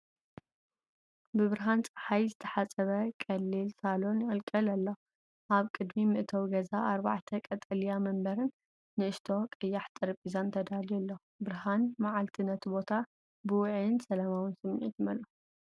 ብብርሃን ጸሓይ ዝተሓጽበ ቀሊል ሳሎን ይቕልቀል ኣሎ። ኣብ ቅድሚ መእተዊ ገዛ ኣርባዕተ ቀጠልያ መንበርን ንእሽቶ ቀያሕ ጠረጴዛን ተዳልዩ ኣሎ። ብርሃን መዓልቲ ነቲ ቦታ ብውዑይን ሰላማውን ስምዒት ይመልኦ።